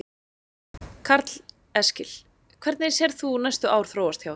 Karl Eskil: Hvernig sérð þú næstu ár þróast hjá ykkur?